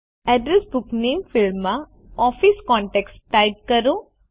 address book નામે ફિલ્ડમાં office contacts type કરો